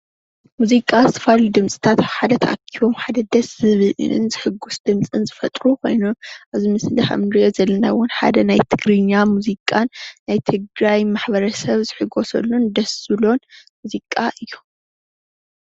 ሙዚቃ ዝተፈላለዩ ድምፅታት ኣብ ሓደ ተኣኪቦም ሓደ ደስ ዝብልን ዘሕጉስ ድምፅን ዝፈጥሩ ኮይኑ እዚ ምስሊ ከምእንርእዮ ዘለና እውን ሓደ ናይ ትግርኛ ሙዚቃን ናይ ትግራይ ማሕበረሰብ ዝሕጓሰሉን ደስ ዝብሎን ሙዚቃ እዩ።